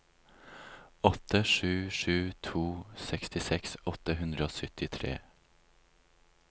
åtte sju sju to sekstiseks åtte hundre og syttitre